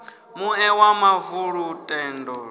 muṋe wa mavu lu tendelaho